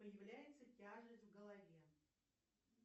появляется тяжесть в голове